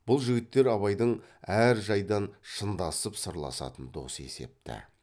бұл жігіттер абайдың әр жайдан шындасып сырласатын досы есепті